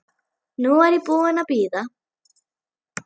Nú er ég búin að bíða.